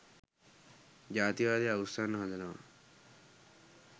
ජාතිවාදය අවුස්සන්න හදනවා.